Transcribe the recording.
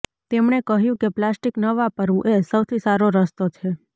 તેમણે કહ્યું કે પ્લાસ્ટિક ન વાપરવું એ સૌથી સારો રસ્તો છે